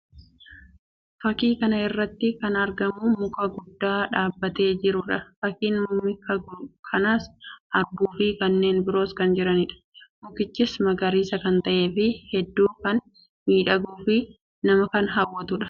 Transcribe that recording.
Fakkii kana irratti kan argamu muka guddaa dhaabbatee jiruu dha. Fakkiin mika kanaas arbuu fi kanneen biroos kan jiranii dha. Mukichis magariisa kan ta'ee fi hedduu kan miidhaguu fi nama hawwatuu dha.